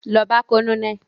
Lọ bá colonel!